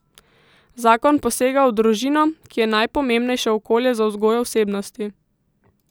Zakon posega v družino, ki je najpomembnejše okolje za vzgojo osebnosti.